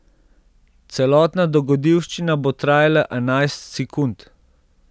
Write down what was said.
Celotna dogodivščina bo trajala enajst sekund.